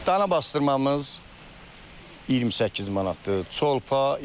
Dana basdırmamız 28 manatdır.